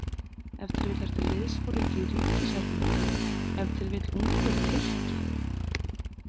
Ef til vill ertu liðsforingi í ríkishernum, ef til vill ungur Tyrki.